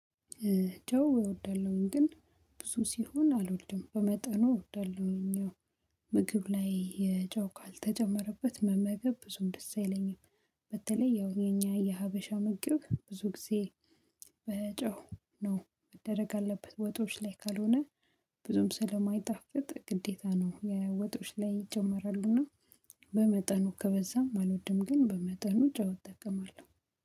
ጨው እወዳለሁኝ ግን ብዙ ሲሆን አልወልድም በመጠኑ እወዳለሁኝ። ምግብ ላይ የጨው ካልተጨመረበት መመገብ ብዙም ደስ አይለኝም። በተለይ ያው የኛ የሀበሻ ምግብ ብዙ ጊዜ በጨው ነው መደረግ አለበት። ወጦች ላይ ካልሆነ ብዙም ስለማይጣፍጥ ግዴታ ነው የወጦች ላይ ይጨመራሉና። በመጠኑ ከበዛም አልወድም ግን በመጠኑ ጨዋታ እጠቀማለሁ።